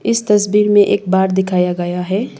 इस तस्वीर में एक बार दिखाया गया है।